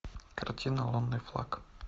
картина лунный флаг